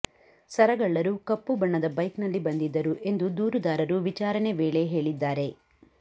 ಸರಗಳ್ಳರು ಕಪ್ಪು ಬಣ್ಣದ ಬೈಕ್ನಲ್ಲಿ ಬಂದಿದ್ದರು ಎಂದು ದೂರುದಾರರು ವಿಚಾರಣೆ ವೇಳೆ ಹೇಳಿದ್ದಾರೆ